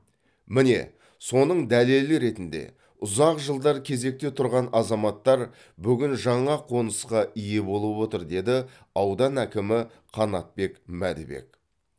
міне соның дәлелі ретінде ұзақ жылдар кезекте тұрған азаматтар бүгін жаңа қонысқа ие болып отыр деді аудан әкімі қанатбек мәдібек